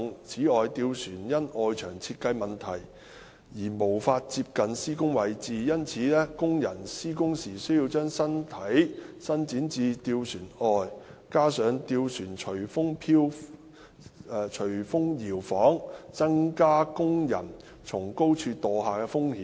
此外，吊船因外牆設計問題而無法接近施工位置，因此工人施工時需將身體伸展至吊船外，加上吊船隨風搖晃，增加工人從高處墮下的風險。